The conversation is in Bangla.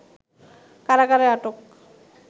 কারাগারে আটক